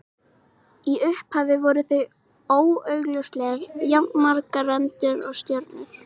Í upphafi voru því augljóslega jafnmargar rendur og stjörnur.